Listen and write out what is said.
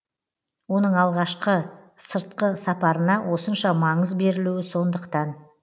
оның алғашқы сыртқы сапарына осынша маңыз берілуі сондықтан